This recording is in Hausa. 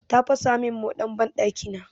Ta fasa min moɗan banɗakina.